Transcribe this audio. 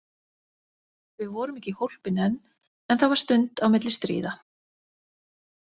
Við vorum ekki hólpin enn, en það var stund á milli stríða.